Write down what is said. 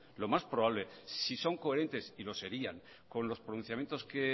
lo más probable si son coherentes y lo serían con los pronunciamientos que